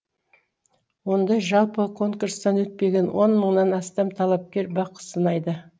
онда жалпы конкурстан өтпеген он мыңнан астам талапкер бақ сынайды